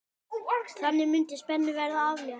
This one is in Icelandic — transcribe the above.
Þannig mundi spennu verða aflétt.